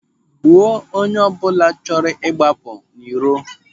Gbuo onye ọbụla chọrọ ịgbapụ n'iro!